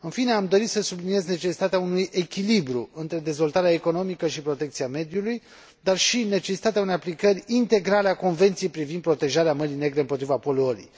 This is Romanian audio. În fine, am dorit să subliniez necesitatea unui echilibru între dezvoltarea economică și protecția mediului, dar și necesitatea unei aplicări integrale a Convenției privind protejarea Mării Negre împotriva poluării.